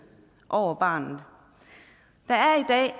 over barnet der er